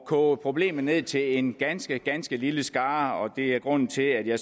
koge problemet ned til at omfatte en ganske ganske lille skare det er grunden til at jeg